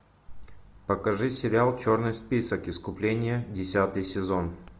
покажи сериал черный список искупление десятый сезон